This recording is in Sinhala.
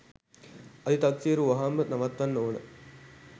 අධි තක්සේරු වහාම නවත්වන්න ඕන.